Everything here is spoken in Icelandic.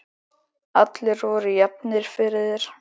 Allir voru jafnir fyrir þér.